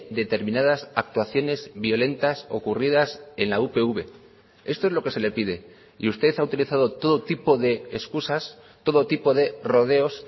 determinadas actuaciones violentas ocurridas en la upv esto es lo que se le pide y usted ha utilizado todo tipo de excusas todo tipo de rodeos